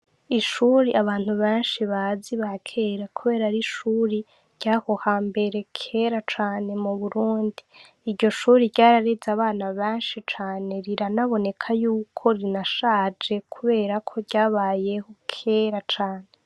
Ishuri abantu benshi bazi abakera kubera ari ishuri ryaho hambere kera cane mu Burundi, iryo shuri ryarariza abana benshi cane rira aboneka yuko rirashaje kubera ko ryabayeho kera cane.